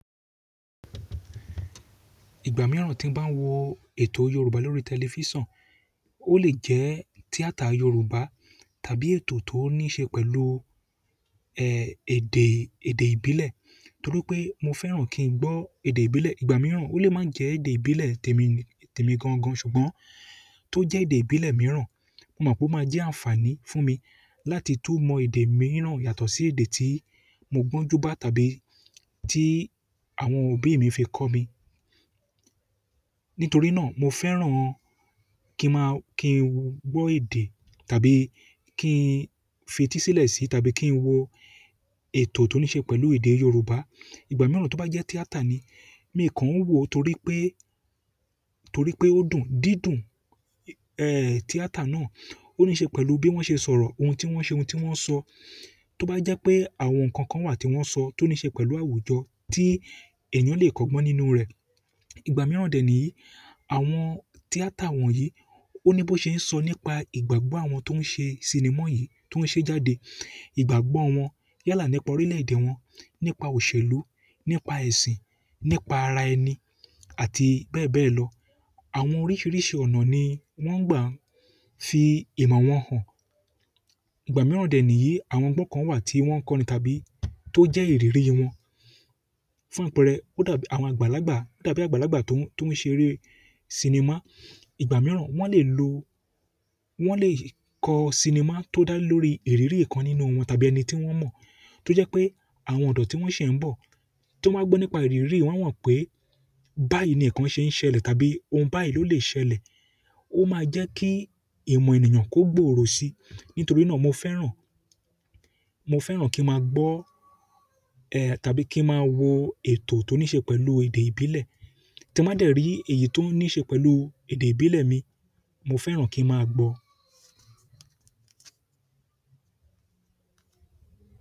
Ìgbà mìíràn tí ń bá n wo ètò Yorùbá lórí tẹlifísàn, ó lè jẹ́ tíátà Yorùbá tàbí ètò tó ní ṣe pẹ̀lú, èdè, èdè ìbílẹ̀. Torí pé mo fẹ́ràn kí n gbọ́ èdè ìbílẹ̀. Ìgbà mìíràn ó lè máa jẹ́ èdè ìbílẹ̀ tèmi, tèmi gangan ṣùgbọ́n tó jẹ́ èdè ìbílẹ̀ mìíràn, mo mọ̀ pé ó máa jẹ́ àǹfààní fún mi láti tún mọ èdè mìíràn yàtọ̀ sí èdè tí mo gbọ́njúbà tàbí tí àwọn òbí mi fi kọ́ mi. Nítorí náà mo fẹ́ràn kí n máa, kí n gbọ́ èdè tàbí kí n fetí sílẹ̀ sí tàbí kí n wo ètò tó ní ṣe pẹ̀lú èdè Yorùbá. Ìgbà mìíràn tó bá jẹ́ tíátà ni, mi n kàn ń wò ó torí pé, torí pé ó dùn, dídùn, tíátà náà ó ní ṣe pẹ̀lú bí wọ́n ṣe sọ̀rọ̀, ohun tí wọ́n ṣe, ohun tí wọ́n sọ. Tó bá jẹ́ pé àwọn nǹkan kan wà tí wọ́n sọ tó ní ṣe pẹ̀lú àwùjọ tí èèyàn lè kọ̀gbọ́n nínú rẹ̀. Ìgbà mìíràn dè níyi, àwọn tíátà wọ̀nyí ó ní bó ṣe ń sọ nípa ìgbàgbọ́ àwọn tó ń ṣe sinimá yìí tó ń ṣe jáde. Ìgbàgbọ́ wọn yálà nípa orílẹ̀ èdè wọn, nípa òṣèlú, nípa ẹ̀sìn, nípa ara ẹni àti bẹ́ẹ̀ bẹ́ẹ̀ lọ. Àwọn oríṣiiríṣii ọ̀nà ni wọ́n gbà ń fi ìmọ̀ wọn hàn. Ìgbà mìíràn dè níyí àwọn ogbon kan wà tí wọ́n kọ́ni tàbí tó jẹ́ ìrírí wọn. Fún àpẹẹrẹ, ó dàbí àwọn àgbàlagbà, ó dàbí àgbàlagbà tó ń, tó ń ṣeré sinimá. Ìgbà mìíràn wọ́n lè lo, wọ́n lè kọ sinimá tó dá lórí ìrírí ẹ̀ẹ̀kan nínú wọn tàbí ẹni tí wọ́n mọ̀. Tó jẹ́ pé àwọn ọ̀dọ́ tí wọ́n ṣese ń bọ̀ tón bá gbọ́ nípa ìrírí yi, wọ́n a mọ̀ pé báyìí ni nǹkan ṣe ń ṣẹlẹ̀ tàbí ohun báyìí ló lè ṣẹlẹ̀. Ó máa jẹ́ kí ìmọ̀ ènìyàn kó gbòòrò si. Nítorí náà mo fẹ́ràn, mo fẹ́ràn kí n máa gbọ́, tàbí kí n máa wo ètò tó ní ṣe pẹ̀lú èdè ìbílẹ̀. Ti n ba de ri èyí to ni se pẹ̀lú èdè ìbílẹ̀ mi, mo fẹ́ràn kin maa gbo.